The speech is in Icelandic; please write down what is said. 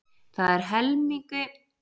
Það eru helmingi færri jafntefli á milli ára.